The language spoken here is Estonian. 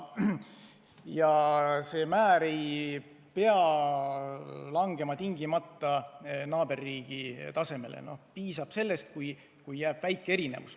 Ja need määrad ei pea langema tingimata naaberriigi omade tasemele, piisab sellest, kui jääb vaid väike erinevus.